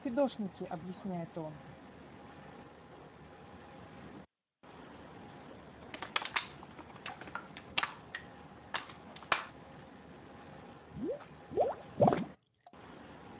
фидошники объясняет он